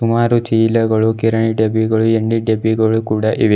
ಆರು ಚೀಲಗಳು ಕಿರಾಣಿ ಡಬ್ಬಿಗಳು ಎಣ್ಣೆ ಡಬ್ಬಿಗಳು ಕೂಡ ಇವೆ.